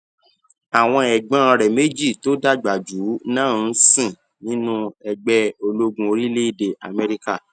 àwọn ègbón rè méjì tó dàgbà jù ú náà ń sìn nínú ẹgbé ológun orílèèdè améríkà